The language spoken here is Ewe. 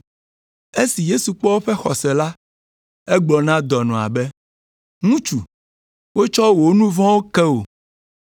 Esi Yesu kpɔ woƒe xɔse la, egblɔ na dɔnɔa be, “Ŋutsu, wotsɔ wò nu vɔ̃wo ke wò.”